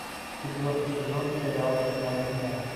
четвертый сезон сериал ночная смена